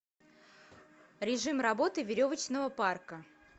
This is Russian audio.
режим работы веревочного парка